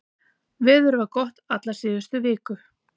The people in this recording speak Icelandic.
Veður var gott alla síðustu viku